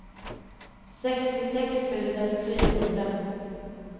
sextiosex tusen fyrahundra